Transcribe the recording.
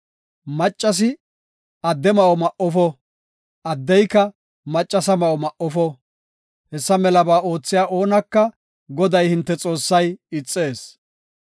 Maccasi adde ma7o ma7ofo; addeyka maccasa ma7o ma7ofo. Hessa melaba oothiya oonaka Goday, hinte Xoossay ixees.